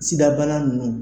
Sida bana nunnu.